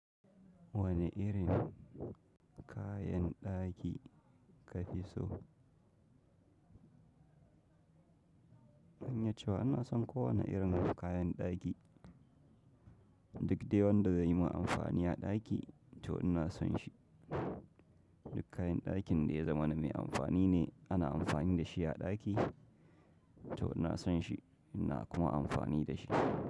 Wane irin kayan ɗaki ka fi so? Zan iya cewa ina son kowane irin kayan ɗaki. Duk dai wanda zai yi min amfani a ɗaki to ina son shi. Duk kayan ɗakin da ya zama na mai amfani ne, ana amfani da shi a ɗaki to ina son shi ina kuma amfani da shi.